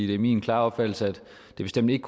det er min klare opfattelse at det bestemt ikke